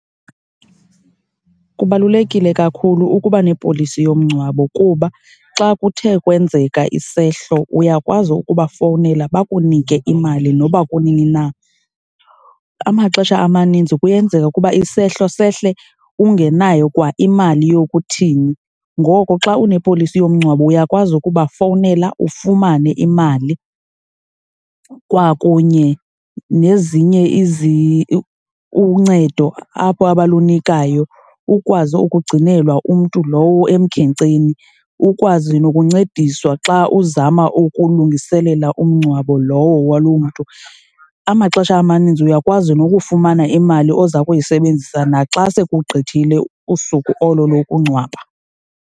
Kubalulekile kakhulu ukuba nepolisi yomngcwabo kuba xa kuthe kwenzeka isehlo uyakwazi ukuba fowunela bakunike imali noba kunini na. Amaxesha amaninzi kuyenzeka ukuba isehlo sehle ungenayo kwaimali yokuthini, ngoko xa unepolisi yomngcwabo uyakwazi ukubafowunela ufumane imali kwakunye nezinye uncedo apho abalunikayo ukwazi ukugcinelwa umntu lowo emkhenkceni, ukwazi nokuncediswa xa uzama ukulungiselela umngcwabo lowo waloo mntu. Amaxesha amaninzi uyakwazi nokufumana imali oza kuyisebenzisa naxa sekugqithile usuku olo lokungcwaba.